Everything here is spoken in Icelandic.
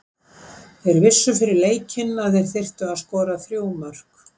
Þeir vissu fyrir leikinn að þeir þyrftu að skora þrjú mörk.